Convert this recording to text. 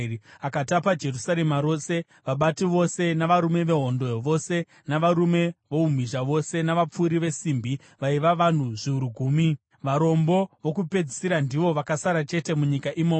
Akatapa Jerusarema rose: vabati vose navarume vehondo vose, navarume voumhizha vose, navapfuri vesimbi, vaiva vanhu zviuru gumi. Varombo vokupedzisira ndivo vakasara chete munyika imomo.